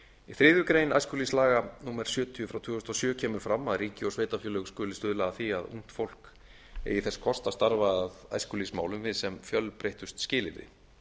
í þriðju grein æskulýðslaga númer sjötíu tvö þúsund og sjö kemur fram að ríki og sveitarfélög skuli stuðla að því að ungt fólk eigi þess kost að starfa að æskulýðsmálum við sem fjölbreyttust skilyrði